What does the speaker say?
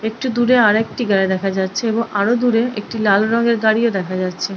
একটু দূরে আর একটি গাড়ি দেখা যাচ্ছে এবং আরো দূরে আর একটি লাল রঙের গাড়িও দেখা যাচ্ছে ।